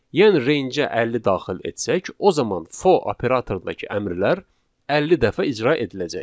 Yəni rangeə 50 daxil etsək, o zaman for operatorundakı əmrlər 50 dəfə icra ediləcək.